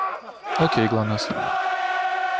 окей гланасс